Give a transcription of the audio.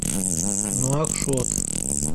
нуакшот